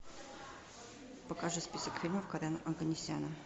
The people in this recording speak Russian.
покажи список фильмов карена оганесяна